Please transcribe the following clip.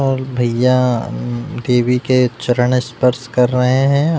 और भैय्या अम देवी के चरण स्पर्श कर रहे है।